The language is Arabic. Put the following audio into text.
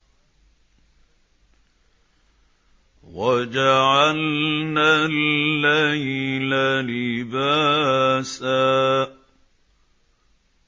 وَجَعَلْنَا اللَّيْلَ لِبَاسًا